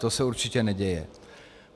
To se určitě neděje.